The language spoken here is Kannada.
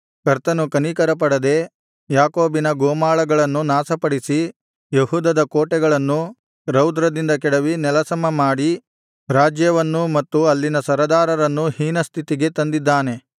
ಕರ್ತನು ಕನಿಕರಪಡದೆ ಯಾಕೋಬಿನ ಗೋಮಾಳಗಳನ್ನು ನಾಶಪಡಿಸಿ ಯೆಹೂದದ ಕೋಟೆಗಳನ್ನು ರೌದ್ರದಿಂದ ಕೆಡವಿ ನೆಲಸಮಮಾಡಿ ರಾಜ್ಯವನ್ನೂ ಮತ್ತು ಅಲ್ಲಿನ ಸರದಾರರನ್ನೂ ಹೀನಸ್ಥಿತಿಗೆ ತಂದಿದ್ದಾನೆ